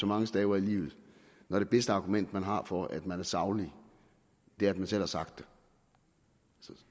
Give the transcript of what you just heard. mange staver i livet når det bedste argument man har for at man er saglig er at man selv har sagt det